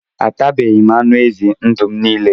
Atabeghi m anụ ezi ndụ m niile